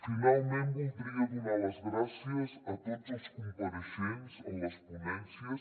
finalment voldria donar les gràcies a tots els compareixents en les ponències